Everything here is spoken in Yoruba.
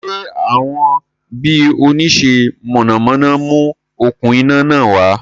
Sé àwọn bi oníṣe mọ̀nàmọ́ná mú okún iná náà wá?